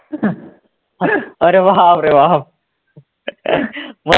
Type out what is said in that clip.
अरे बापरे बाप!